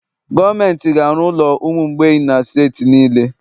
Gọọmenti ga-arụ ụlọ ụmụ mgbei na steeti niile